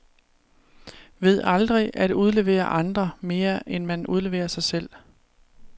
Ved aldrig at udlevere andre, mere end man udleverer sig selv.